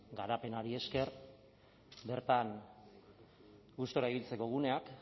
garapenari esker bertan gustura ibiltzeko guneak